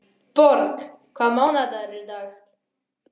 Borg, hvaða mánaðardagur er í dag?